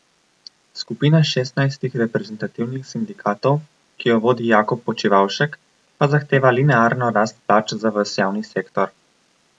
Skupina šestnajstih reprezentativnih sindikatov, ki jo vodi Jakob Počivavšek, pa zahteva linearno rast plač za ves javni sektor.